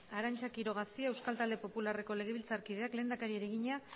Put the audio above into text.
arantza quiroga cia euskal talde popularreko legebiltzarkideak lehendakariari egina